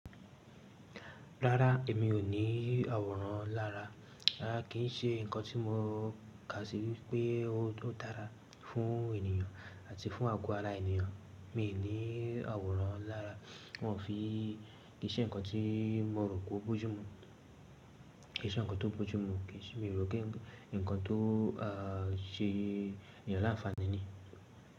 Rárá, èmi ò ní àwòrán lára. Rárá kì í ṣe ǹkan tí mo kà sí wípé ó dára fún ènìyàn àti fún àgọ́ ara ènìyàn. Mi ò ní àwòrán lára, wọn ò fi kii ṣe ǹkan tí mo rò pé ó bójú mu. Kì í ṣe ǹkan tó bójú mu, kì í ṣe mi rò pé ǹkan tó ṣe ènìyàn láǹfàní ni.